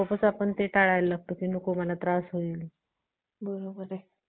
चांगलं वाटतं ना लई म्हणजे लई चांगलं वाटतं.